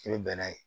I bɛ bɛnn'a ye